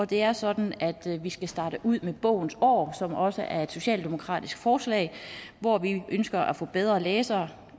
det er sådan at vi skal starte ud med bogens år som også er et socialdemokratisk forslag hvor vi ønsker at få bedre læsere